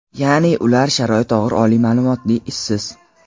ya’ni ular sharoiti og‘ir oliy ma’lumotli ishsiz.